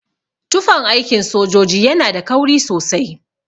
Tufan aikin sojoji yana da kauri sosai.